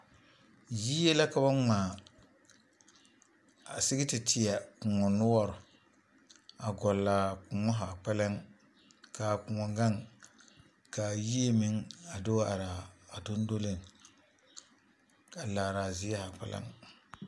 Yie la ka ba ŋmaa a sigi te tɔ koɔ noɔreŋ , a gɔɔle a koɔ zaa kpɛlem kaa koɔ gaŋ kaa yie meŋ a do wa are a dondoleŋ a laare a zie zaa kpɛlem